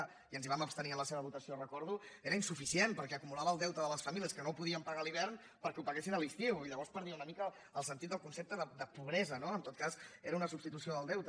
i ens hi vam abstenir en la seva votació ho recordo era insuficient perquè acumulava el deute de les famílies que no podien pagar a l’hivern perquè ho paguessin a l’estiu i llavors perdia una mica el sentit del concepte de pobresa no en tot cas era una substitució del deute